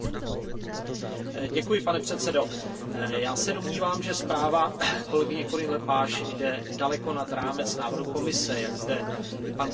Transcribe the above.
Pane předsedající, já se domnívám, že zpráva kolegyně Corinne Lepage jde daleko nad rámec návrhu Komise, jak zde i pan komisař zdůraznil.